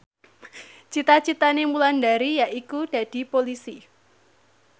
cita citane Wulandari yaiku dadi Polisi